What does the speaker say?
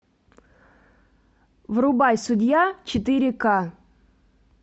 врубай судья четыре ка